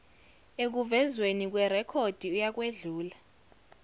ekuvezweni kwerekhodi uyakwedlula